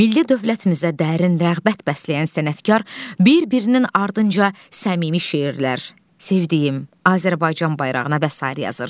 Milli dövlətimizə dərin rəğbət bəsləyən sənətkar bir-birinin ardınca səmimi şeirlər, Sevdiyim, Azərbaycan bayrağına və sair yazır.